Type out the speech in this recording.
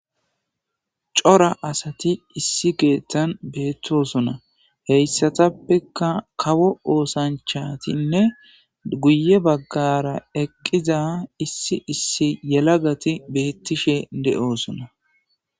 cora asati issi keettan beettosona heyssatappekka kawo oosanchatinne guye baggara eqqiza issi issi yelagati beettishe de'oosona